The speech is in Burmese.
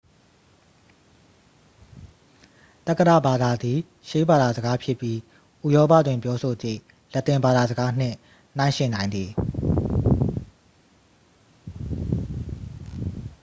သက္ကတဘာသာသည် ရှေးဘာသာစကားဖြစ်ပြီး ဥရောပတွင် ပြောဆိုသည့် လက်တင်ဘာသာစကားနှင့် နှိုင်းယှဉ်နိုင်သည်